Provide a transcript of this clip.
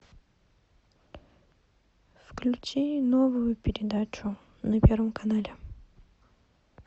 включи новую передачу на первом канале